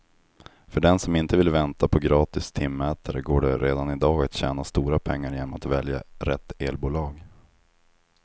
För den som inte vill vänta på gratis timmätare går det redan i dag att tjäna stora pengar genom att välja rätt elbolag.